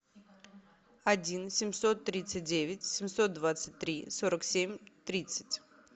один семьсот тридцать девять семьсот двадцать три сорок семь тридцать